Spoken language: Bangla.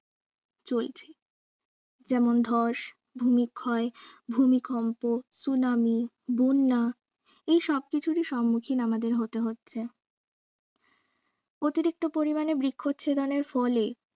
চলছে যেমন ধস ভূমিক্ষয় ভুমিকম্প সুনামি বন্যা এই সব কিছুরই সম্মুখীন আমাদের হতে হচ্ছে অতিরিক্ত পরিমাণে বৃক্ষ ছেদনের ফলে